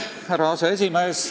Austatud härra aseesimees!